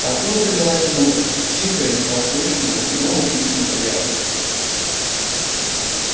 откуда-то лилась музыка тихая едва слышная но удивительно приятная